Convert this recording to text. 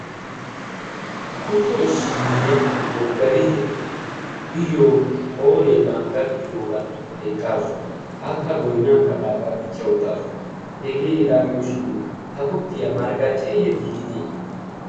kutto isinniyaa boggariyya iyyo qooree bangga gidiroora eqqaasu akka goinaa kabaagaa dichcha uttaasu hegee hegaa gidoshin ha kuttiyaa marggacceeyyo dipinee?